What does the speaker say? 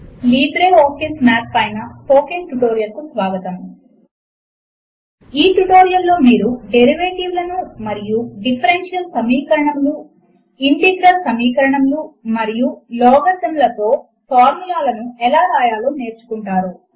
LibreOffice math పైన spoken tutorial కు స్వాగతము ఈ ట్యుటోరియల్ లో మీరు డేరివేటివ్ లను మరియు డిఫరెన్షియల్ సమీకరణములు ఇంటిగ్రల్ సమీకరణములు మరియు లాగరిథమ్ లతో ఫార్ములాలను ఎలా వ్రాయాలో నేర్చుకుంటారు